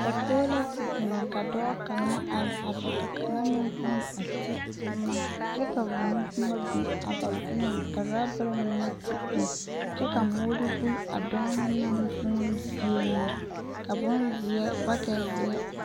Dakoɡi la te biŋ ka dɔɔ kaŋa are a be ka kaŋa meŋ huune a te boma kyɛ ka bomboma biŋ a ba seɛŋ ka urɔbare mine te biŋ kyɛ ka moori buli a dɔɔ na naŋ vuune zie na ka bonzeɛ bakɛtzeɛ.